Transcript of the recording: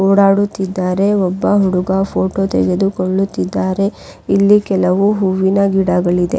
ಓಡಾಡುತ್ತಿದ್ದಾರೆ ಒಬ್ಬ ಹುಡುಗ ಫೊಟೊ ತೆಗೆದಿಕೊಳ್ಳುತ್ತಿದ್ದಾರೆ ಇಲ್ಲಿ ಕೆಲವು ಹೂವಿನ ಗಿಡಗಳಿದೆ.